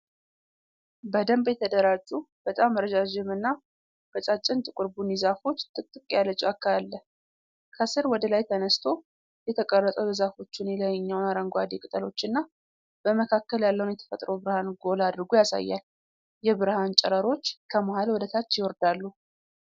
በደንብ የተደራጁ በጣም ረዣዥም እና ቀጫጭን ጥቁር ቡኒ ዛፎች ጥቅጥቅ ያለ ጫካ አለ። ከስር ወደ ላይ ተነስቶ የተቀረፀው የዛፎቹን የላይኛውን አረንጓዴ ቅጠሎችና በመካከል ያለውን የተፈጥሮ ብርሃን ጎላ አድርጎ ያሳያል። የብርሃን ጨረሮች ከመሃል ወደ ታች ይወርዳሉ።